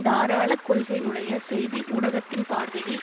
தாராளக் கொள்கையுடைய செய்தி ஊடகத்தின் பார்வையில்